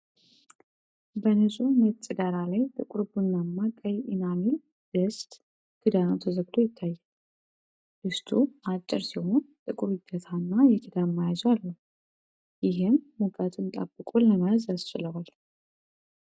በንፁህ ነጭ ዳራ ላይ ጥቁር ቡናማ ቀይ ኢናሜል ድስት ክዳኑ ተዘግቶ ይታያል። ድስቱ አጭር ሲሆን፣ ጥቁር እጀታና የክዳን መያዣ አለው፤ ይህም ሙቀትን ጠብቆ ለመያዝ ያስችለዋል።